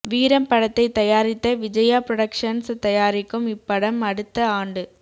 வீரம் படத்தைத் தயாரித்த விஜயா புரொடக்சன்ஸ் தயாரிக்கும் இப்படம் அடுத்த ஆண்டு